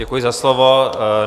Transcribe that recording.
Děkuji za slovo.